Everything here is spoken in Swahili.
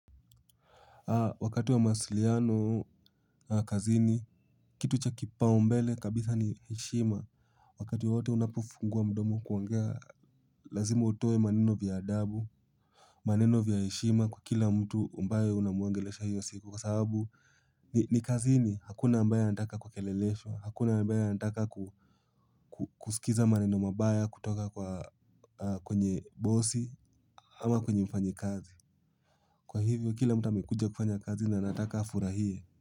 Wakati wa mawasiliano kazini, kitu cha kipaumbele kabisa ni heshima. Wakati wote unapofungua mdomo kuongea, lazima utoe maneno ya adabu, maneno ya heshima kwa kila mtu ambaye unamuongelesha hiyo siku. Kwa sababu ni kazini, hakuna ambaye anataka kukelelesho, hakuna ambaye anataka kusikiliza maneno mabaya, kutoka kwenye bosi, ama kwenye mfanyakazi. Kwa hivyo, kila mtu amekuja kufanya kazi na anataka afurahie.